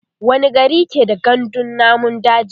wani gari ke da gandun namun daji?